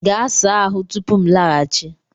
Gaa saa ahụ tupu m laghachi!